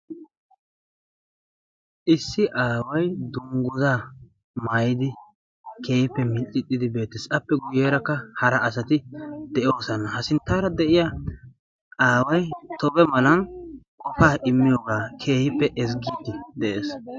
Issi aaway dungguzaa maayidi keehiippe miccixxidi beettees. appe guyyeerakka hara asati de'oosana. ha sinttaara de'iya aawai tobe malan qofaa immiyoogaa keehiippe ezggiiddi de'ees.